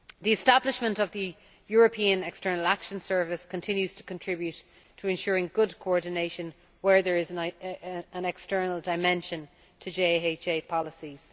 The establishment of the European External Action Service continues to contribute to ensuring good coordination where there is an external dimension to JHA policies.